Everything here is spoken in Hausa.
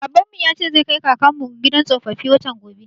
Babanmu ya ce zai kai kakanmu gidan tsofaffi, watan gobe.